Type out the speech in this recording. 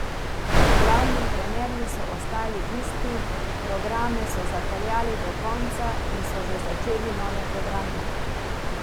Glavni trenerji so ostali isti, programe so zapeljali do konca in so že začeli nove programe.